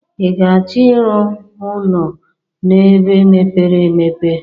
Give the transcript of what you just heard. I ga achọ ị rụ ụnọ n'ebe mepere emepe?